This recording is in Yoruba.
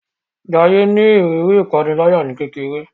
Jaiye ní ìrírí ìpaniláyà ní kékeré